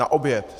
Na oběd.